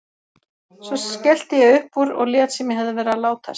Svo skellti ég upp úr og lét sem ég hefði verið að látast.